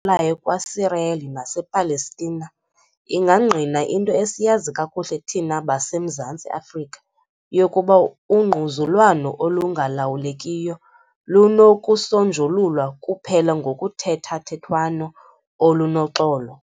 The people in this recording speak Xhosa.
Layo kwaSirayeli nasePalestina ingangqina into esiyazi kakuhle thina baseMzantsi Afrika, yokuba ungquzulwano olungalawulekiyo lunokusonjululwa kuphela ngokuthethathethwano olunoxolo.